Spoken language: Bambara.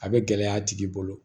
A bɛ gɛlɛya a tigi bolo